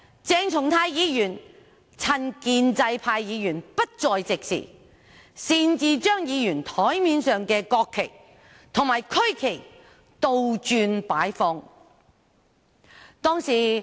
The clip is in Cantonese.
鄭松泰議員當日趁建制派議員不在席時，擅自將議員檯面上的國旗及區旗倒轉擺放。